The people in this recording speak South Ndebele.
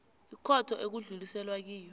ikhotho ekudluliselwe kiyo